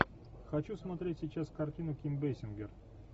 хочу смотреть сейчас картину ким бейсингер